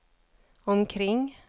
omkring